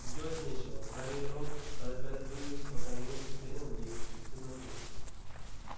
делать нечего гарри и рон торопясь двинулись по каменным ступеням вниз и в темноту